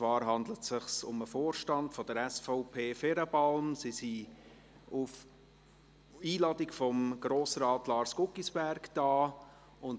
Es handelt sich um den Vorstand der SVP Ferenbalm, der auf Einladung von Grossrat Lars Guggisberg hier ist.